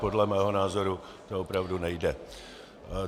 Podle mého názoru to opravdu nejde.